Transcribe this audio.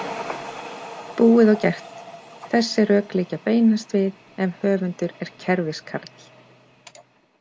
Búið og gert Þessi rök liggja beinast við ef höfundur er kerfiskarl.